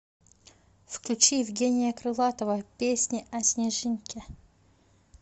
включи евгения крылатова песня о снежинке